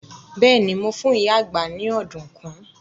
Bẹ́ẹ̀ni, mo fún ìyá àgbá ni ọ̀dùnkún.